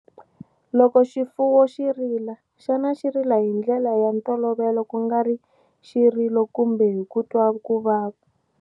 Loko xifuwo xi rila, xana xi rila ya ndlela ya ntolovelo, ku nga ri xirilo kumbe hi ku twa ku vava?